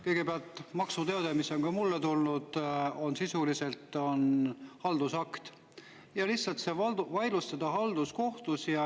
Kõigepealt, maksuteade, mis on ka mulle tulnud, on sisuliselt haldusakt ja selle lihtsalt vaidlustada halduskohtus.